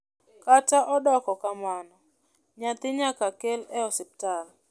kata odoko kamano nyathi nyaka kel e hospital